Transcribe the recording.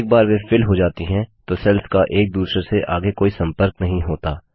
एक बार वे फिल हो जाती हैं तो सेल्स का एक दूसरे से आगे कोई संपर्क नहीं होता